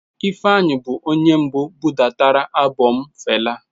Ifeanyi bụ onye mbụ budatara albọm Fela.